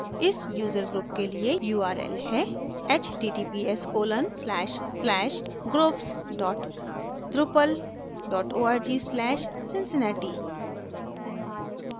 इस user group के लिए url है: https colon slash slash groups dot drupal dot org slash cincinnati